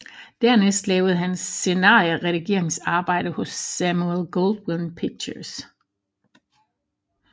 Dernæst lavede hun scenarieredigeringsarbejde hos Samuel Goldwyn Pictures